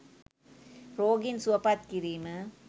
රෝගීන් සුවපත් කිරීම